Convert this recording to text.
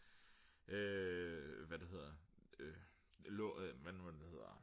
hvad er det det hedder hvad er det nu det hedder